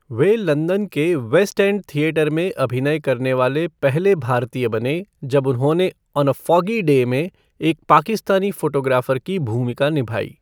वे London के West End theatre में अभिनय करने वाले पहले भारतीय बने, जब उन्होंने 'ऑन ए फ़ॉगी डे' में एक पाकिस्तानी फ़ोटोग्राफर की भूमिका निभाई।